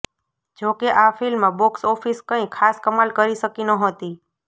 જોકે આ film box office કંઈ ખાસ કમાલ કરી શકી નહોતી